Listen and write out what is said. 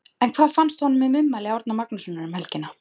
En hvað fannst honum um ummæli Árna Magnússon um helgina?